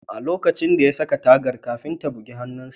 A lokacin da ya saka tagar, kafinta ya bugi hannunsa